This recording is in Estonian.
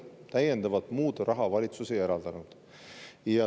Valitsus täiendavalt raha ei eraldanud.